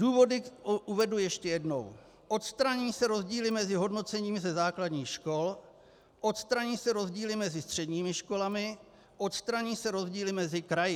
Důvody uvedu ještě jednou: Odstraní se rozdíly mezi hodnocením ze základních škol, odstraní se rozdíly mezi středními školami, odstraní se rozdíly mezi kraji.